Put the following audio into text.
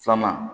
Filanan